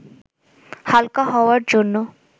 হালকা হওয়ার জন্য